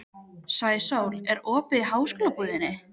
Sæsól, er opið í Háskólabúðinni?